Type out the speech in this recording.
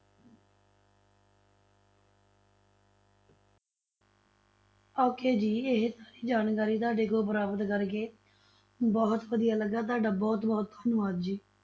Okay ਜੀ ਇਹ ਸਾਰੀ ਜਾਣਕਾਰੀ ਤੁਹਾਡੇ ਕੋਲੋਂ ਪ੍ਰਾਪਤ ਕਰਕੇ ਬਹੁਤ ਵਧੀਆ ਲੱਗਾ, ਤੁਹਾਡਾ ਬਹੁਤ ਬਹੁਤ ਧੰਨਵਾਦ ਜੀ।